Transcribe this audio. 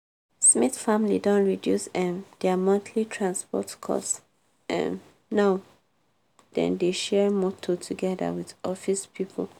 smith family don reduce um dia monthly transport cost um now dem dey share motor togeda with office pipo.